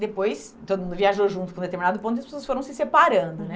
Depois, todo mundo viajou junto para um determinado ponto e as pessoas foram se separando, né?